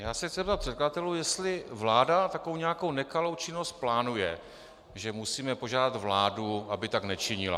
Já se chci zeptat předkladatelů, jestli vláda takovou nějakou nekalou činnost plánuje, že musíme požádat vládu, aby tak nečinila.